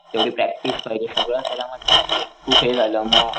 तेवढी प्रॅक्टिस पाहिजे सगळं त्यालाखूप हे झालं म,